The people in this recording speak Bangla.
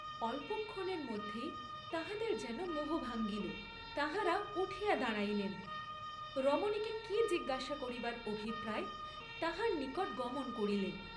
অল্পক্ষণের মধ্যেই তাঁহাদের যেন মোহ ভাঙ্গিল, তাঁহারা উঠিয়া দাঁড়াইলেন, রমণীকে কি জিজ্ঞাসা করিবার অভিপ্রায়ে তাহার নিকটে গমন করিলেন।